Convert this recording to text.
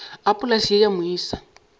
a polase ye ya moisa